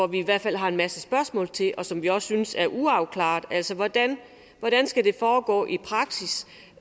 vi i hvert fald har en masse spørgsmål til og som vi også synes er uafklarede hvordan skal det foregå i praksis